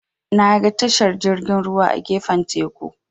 Naga tashar jirgin ruwa a gefen teku.